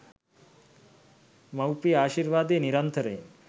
මවුපිය ආශිර්වාදය නිරන්තරයෙන්